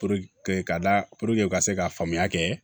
k'a da u ka se ka faamuya kɛ